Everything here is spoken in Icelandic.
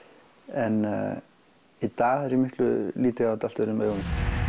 en í dag lít ég á þetta allt öðrum augum